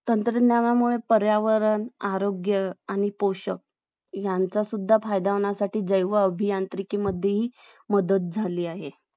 अं अं बालकामगार अं आढळतांना दिसतात, तर हा प्रकार खरचं कुठेना कुठे थांबावा कारण, अं भारत हा अं असा देश आहे कि भारताकडे पासष्ट टक्के लोकसंख्या